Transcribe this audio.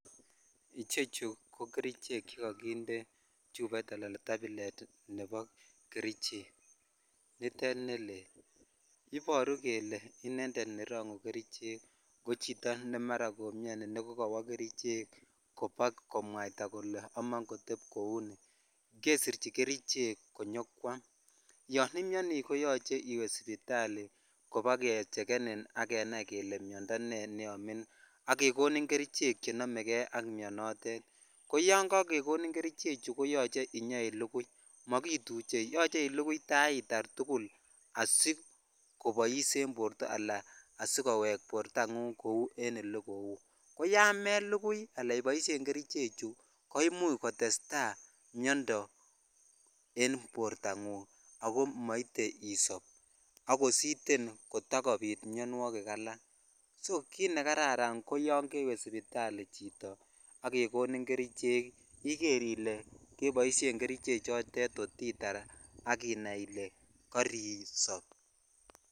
Ichechuu ko kerichek chekokinde chuboit alan tablet nebo kerichek nitet ne lel iboru kelee inended nerongu kerichek ko chito ne maraa komioni kokowo kerichek kobakomwaitaa kole amon kotep kou nii kesirchi kerichek konyokwam , yon imioni koyoche iwe sipitali kobakechekenin ak kenai kelee miondoo nee neomin ak kekonin kerichek chenomekei ak mionotet ko yon kakekonin kerichek koyoche inyoilugui mokituche yoche ilugui taitar tukul asikobois en borto aka asikowek bortangung kou olekou ko yan melukui ala iboisien kerichek kerichek ko imuch kotesetai miondoo en borta ngung ako moite isob akositen kotakobit minwogik alak so kit ne kararan ko yon kewe sipitali chito ak kekonin ii iker ilee keboishen kerichek chotet kotitar ak iker ile koinobori.